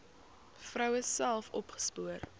vroue self opgespoor